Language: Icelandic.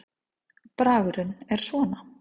Bragurinn var svona